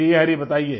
जी हरि बताइए